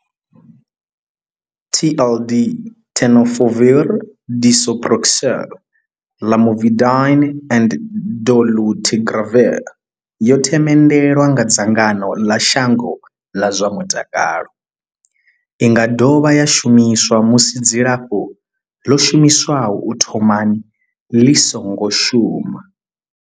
TLD Tenofovir disoproxil, Lamivudine and dolutegravir yo themendelwa nga dzangano ḽa shango ḽa zwa mutakalo. I nga dovha ya shumiswa musi dzilafho ḽo shumiswaho u thomani ḽi songo shuma.